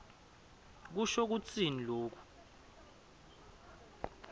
kusho kutsini loku